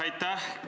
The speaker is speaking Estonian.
Aitäh!